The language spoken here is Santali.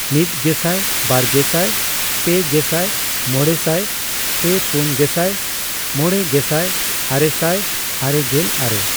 ᱢᱤᱛᱜᱮᱥᱟᱭ ,ᱵᱟᱨᱜᱮᱥᱟᱭ ,ᱯᱮ ᱜᱮᱥᱟᱭ ,ᱢᱚᱲᱮᱥᱟᱭ ,ᱯᱮ ᱯᱩᱱ ᱜᱮᱥᱟᱭ ,ᱢᱚᱲᱮ ᱜᱮᱥᱟᱭ ,ᱟᱨᱮᱥᱟᱭ ᱟᱨᱮᱜᱮᱞ ᱟᱨᱮ, ᱾